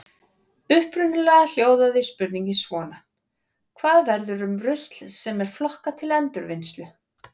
Upprunalega hljóðaði spurningin svona: Hvað verður um rusl sem er flokkað til endurvinnslu?